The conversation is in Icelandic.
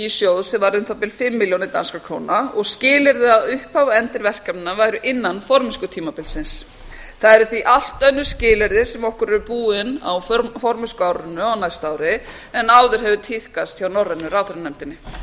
sjóð sem var um það bil fimm milljónir danskra króna og skilyrði að upphaf og endir verkefnanna væri innan formennskutímabilsins það eru því allt önnur skilyrði sem okkur eru búin á formennskuárinu á næsta ári en áður hefur tíðkast hjá norrænu ráðherranefndinni